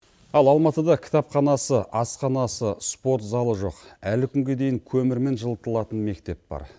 ал алматыда кітапханасы асханасы спорт залы жоқ әлі күнге дейін көмірмен жылытылатын мектеп бар